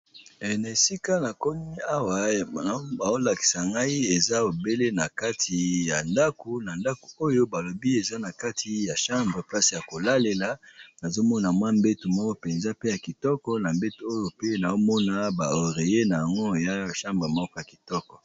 Na esika na komi awa a baolakisa ngai eza ebele na kati ya ndako, na ndako oyo balobi eza na kati ya chambre place ya kolalela nazomona mwa mbeto moko mpenza pe ya kitoko na mbeto oyo pe naomona baorée na yango ya chambre moko ya kitoko.